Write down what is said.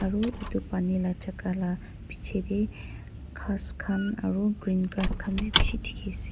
aru edu pani la jaka la bichae tae ghas khan aro green grass khan bi bishi dikhiase.